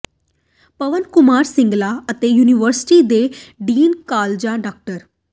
ਪਵਨ ਕੁਮਾਰ ਸਿੰਗਲਾ ਅਤੇ ਯੂਨੀਵਰਸਿਟੀ ਦੇ ਡੀਨ ਕਾਲਜਾਂ ਡਾ